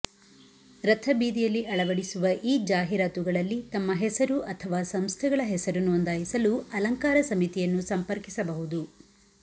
ರಥಬೀದಿಯಲ್ಲಿ ಅಳವಡಿಸುವ ಈ ಜಾಹೀರಾತುಗಳಲ್ಲಿ ತಮ್ಮ ಹೆಸರು ಅಥವಾ ಸಂಸ್ಥೆಗಳ ಹೆಸರು ನೋಂದಾಯಿಸಲು ಅಲಂಕಾರ ಸಮಿತಿಯನ್ನು ಸಂಪರ್ಕಿಸಬಹುದು